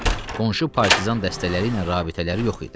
Çünki qonşu partizan dəstələri ilə rabitələri yox idi.